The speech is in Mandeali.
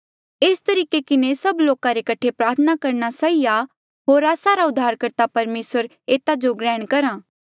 एस तरीके किन्हें सब लोका रे कठे प्रार्थना करना सही आ होर आस्सा रा उद्धारकर्ता परमेसर एता जो ग्रहण करहा